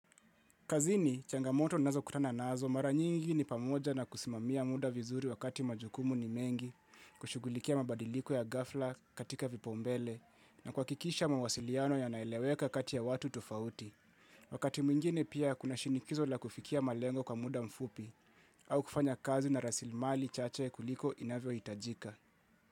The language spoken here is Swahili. Kazini, changamoto nazo kutana nazo mara nyingi ni pamoja na kusimamia muda vizuri wakati majukumu ni mengi kushugulikia mabadiliku ya gafla katika vipaombele na kwakikisha mawasiliano ya naeleweka kati ya watu tofauti. Wakati mwingine pia kuna shinikizo la kufikia malengo kwa muda mfupi au kufanya kazi na rasilmali chache kuliko inavyo hitajika.